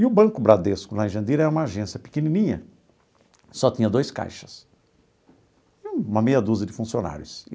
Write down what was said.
E o Banco Bradesco, lá em Jandira, é uma agência pequenininha, só tinha dois caixas e uma meia dúzia de funcionários.